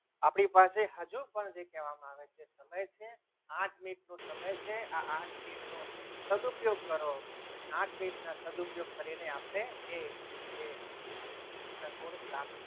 આપણી પાસે હજુ પણ જે કહેવામાં આવે છે આઠ મિનિટનો સમય છે આ આઠ મિનિટ નો સદુપયોગ અને આઠ મિનિટનો સાદ ઉપયોગ કરીને આ જે ગુણ પ્રાપ્ત.